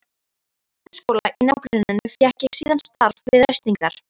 Í grunnskóla í nágrenninu fékk ég síðan starf við ræstingar.